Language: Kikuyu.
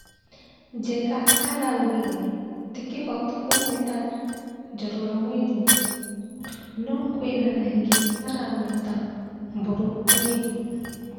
Njenga araugire ti kĩhoto kũmwĩta 'Njoroge mwerũ' no kwĩna angĩ maramwĩta 'Mburu mwerũ'